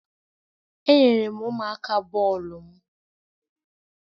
Enyere m ụmụaka bọọlụ m.